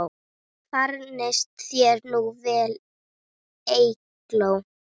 Farnist þér nú vel, Eygló.